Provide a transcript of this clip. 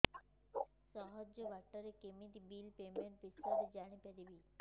ସହଜ ବାଟ ରେ କେମିତି ବିଲ୍ ପେମେଣ୍ଟ ବିଷୟ ରେ ଜାଣି ପାରିବି